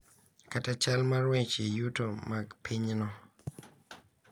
Kata chal mar weche yuto mag pinyno.